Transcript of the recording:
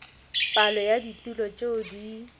palo ya ditulo tšeo di